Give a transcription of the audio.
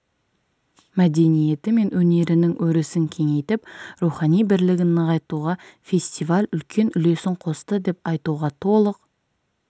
мәдениеті мен өнерінің өрісін кеңейтіп рухани бірлігін нығайтуға фестиваль үлкен үлесін қосты деп айтуға толық